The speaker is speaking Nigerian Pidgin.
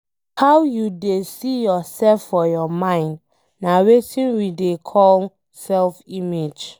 How you dey see yourself for your mind nah Wetin we dey call self image